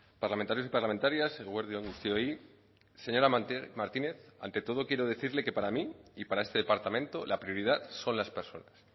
parlamentarios y parlamentarias eguerdi on guztioi señora martínez ante todo quiero decirle que para mí y para este departamento la prioridad son las personas